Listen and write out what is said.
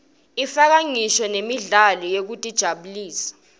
ifaka ngisho nemidlalo yekutijabulisa